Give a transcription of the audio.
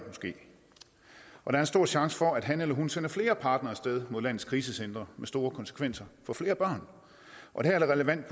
og der er en stor chance for at han eller hun sender flere partnere af sted mod landets krisecentre med store konsekvenser for flere børn og her er det relevant